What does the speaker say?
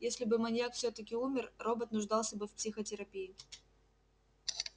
если бы маньяк всё-таки умер робот нуждался бы в психотерапии